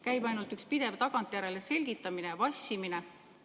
Käib ainult üks pidev tagantjärele selgitamine ja vassimine.